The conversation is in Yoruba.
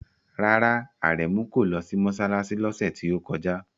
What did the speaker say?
Rárá, Aremu kò lọ sí mọ́ṣáláṣí lọ́sẹ̀ tí ó kọjá.